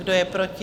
Kdo je proti?